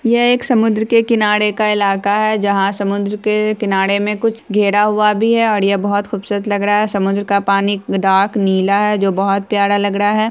यह एक समुद्र के किनारे का इलाका है जहां समुद्र के किनारे में कुछ घेरा हुआ भी है और यह बहुत खुबसूरत लग रहा है समुद्र का पानी डार्क नीला है जो बहुत प्यारा लग रहा है।